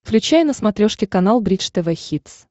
включай на смотрешке канал бридж тв хитс